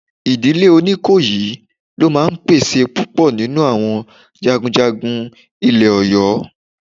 Ìdílé Oníkòyí ló máa ń pèsè púpọ̀ nínú àwọn jagunjagun ilẹ̀ Ọ̀yọ́